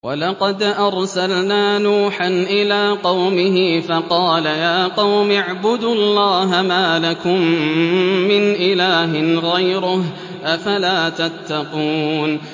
وَلَقَدْ أَرْسَلْنَا نُوحًا إِلَىٰ قَوْمِهِ فَقَالَ يَا قَوْمِ اعْبُدُوا اللَّهَ مَا لَكُم مِّنْ إِلَٰهٍ غَيْرُهُ ۖ أَفَلَا تَتَّقُونَ